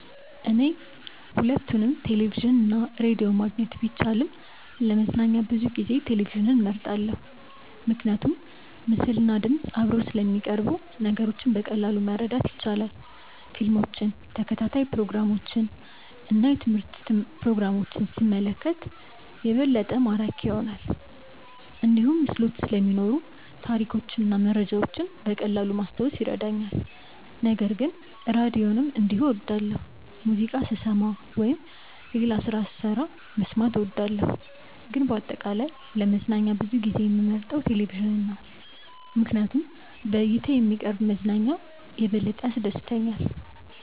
እኔ ሁለቱንም ቴሌቪዥን እና ራዲዮ ማግኘት ቢቻልም ለመዝናኛ ብዙ ጊዜ ቴሌቪዥንን እመርጣለሁ። ምክንያቱም ምስልና ድምፅ አብረው ስለሚቀርቡ ነገሮችን በቀላሉ ማረዳት ይቻላል። ፊልሞችን፣ ተከታታይ ፕሮግራሞችን እና የትምህርት ፕሮግራሞችን ሲመለከት የበለጠ ማራኪ ይሆናል። እንዲሁም ምስሎች ስለሚኖሩ ታሪኮችን እና መረጃዎችን በቀላሉ ማስታወስ ይረዳኛል። ነገር ግን ራዲዮንም እንዲሁ እወዳለሁ፣ ሙዚቃ ስሰማ ወይም ሌላ ስራ ስሰራ መስማት እወዳለሁ። ግን በአጠቃላይ ለመዝናኛ ብዙ ጊዜ የምመርጠው ቴሌቪዥን ነው ምክንያቱም በእይታ የሚቀርብ መዝናኛ የበለጠ ያስደስተኛል።